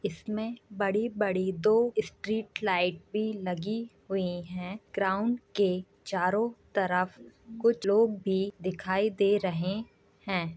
इसमें बड़ी-बड़ी दो स्ट्रीट लाइट भी लगी हुई हैं। ग्राउंड के चारों तरफ कुछ लोग भी दिखाई दे रहे हैं।